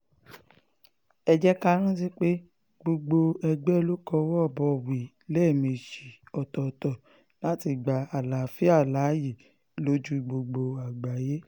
ẹ jẹ́ ká rántí pé gbogbo ègbé ló kọwọ́ bọ̀wé lẹ́ẹ̀mejì ọ̀tọ̀ọ̀tọ̀ láti gba àlàáfíà láàyè lójú gbogbo àgbáyé